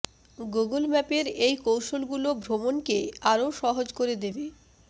Google ম্যাপের এই কৌশলগুলো ভ্রমণকে আরও সহজ করে দেবে